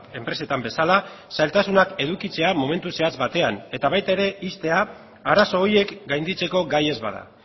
enpresetan bezala zailtasunak edukitzea momentu zehatz batean eta baita ere ixtea arazo horiek gainditzeko gai ez bada